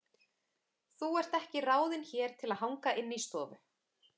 Þú ert ekki ráðin hér til að hanga inni í stofu.